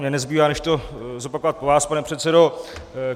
Mně nezbývá než to zopakovat po vás, pane předsedo.